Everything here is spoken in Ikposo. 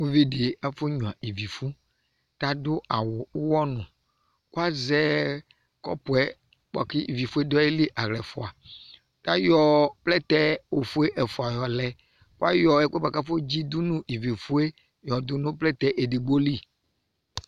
Uvi dɩ afɔnyuǝ ivifʋ kʋ adʋ awʋ ʋɣɔnʋ kʋ azɛ kɔpʋ yɛ bʋa kʋ ivifʋ yɛ dʋ ayili yɛ aɣla ɛfʋa Tayɔ plɛtɛ ofue ɛfʋa yɔ lɛ Kʋ ayɔ ɛkʋ yɛ bʋa kʋ afɔdzi dʋ nʋ ivifʋ yɛ yɔdʋ nʋ plɛtɛ edigbo li